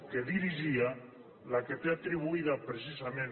que dirigia la que té atribuïda precisament